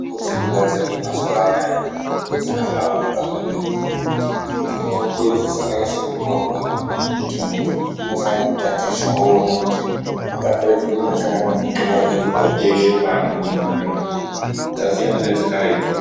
Mitombo dzinogadzirwe mazuva anaya, mitombo dzakahlamburuka zvemene ,nekuti mitombo idzi dzakanyase kunyorwa kuti muntu unofanire kutatitsha owona kuti ungatore chipimo chakadii nguwa ngenguwa peshe paanenge eyitora mitombo. Dzasiyana nedzakare tuu.